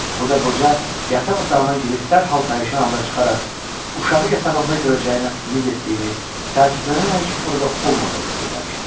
Burda qoca yataq otağına girib dərhal pərişan halda çıxaraq, uşağı yatağında görəcəyinə ümid etdiyini təəssüflənərək orada olmadığını söyləmişdi.